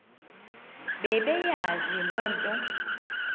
bebeyazi le nto